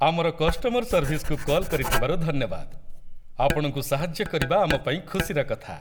ଆମର କଷ୍ଟମର ସର୍ଭିସକୁ କଲ୍ କରିଥିବାରୁ ଧନ୍ୟବାଦ । ଆପଣଙ୍କୁ ସାହାଯ୍ୟ କରିବା ଆମ ପାଇଁ ଖୁସିର କଥା ।